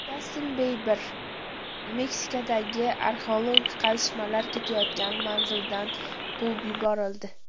Jastin Biber Meksikadagi arxeologik qazishmalar ketayotgan manzildan quvib yuborildi.